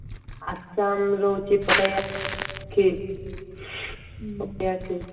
ଆସାମ ରହୁଛି ଏପଟେ